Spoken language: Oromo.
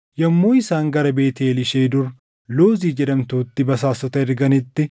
Yommuu isaan gara Beetʼeel ishee dur Luuzi jedhamtutti basaastota erganitti,